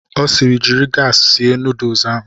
Ọ siiri, jiri gaasi sie nuduls ahụ!